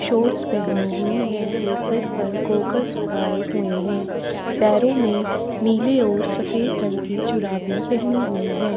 Shores पेहनी हुई है और सर पर गॉगल्स लगाये हुए है पैरो मे नीले ओर सफेद रंग के चुराबी पेहनी हुई है।